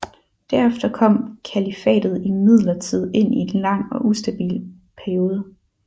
Derefter kom kalifatet imidlertid ind i en lang og ustabil periode